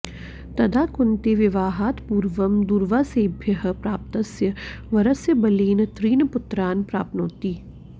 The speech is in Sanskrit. तदा कुन्ती विवाहात् पूर्वं दूर्वासेभ्यः प्राप्तस्य वरस्य बलेन त्रीन् पुत्रान् प्राप्नोति